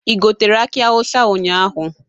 Ị gotere aki awụsa ụnyaahụ?